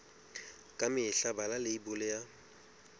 ka mehla bala leibole ya